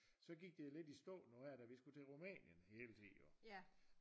Så gik det lidt i stå nu her da vi skulle til Rumænien det var det jeg ville sige jo